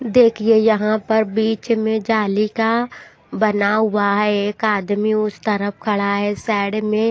देखिए यहां पर बीच में जाली का बना हुआ है एक आदमी उस तरफ खड़ा है साइड में--